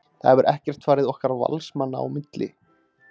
Það hefur ekkert farið okkar Valsmanna á milli.